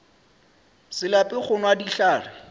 se lape go nwa dihlare